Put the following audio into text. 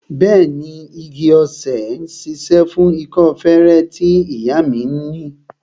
Bẹẹni, ewé igi-osè ṣíṣe fún ikọ́ feré tí ìyá mi ni